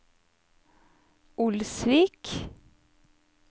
Olsvik